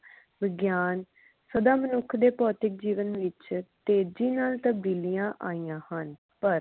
ਵਿਗਿਆਨ ਸਦਾ ਮਨੁੱਖ ਦੇ ਭੌਤਿਕ ਜੀਵਨ ਵਿਚ ਤੇਜੀ ਨਾਲ ਤਬਦੀਲੀਆਂ ਆਈਆਂ ਹਨ ਪਰ